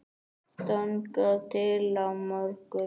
þangað til á morgun?